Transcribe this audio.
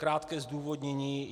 Krátké zdůvodnění.